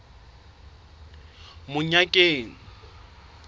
monyakeng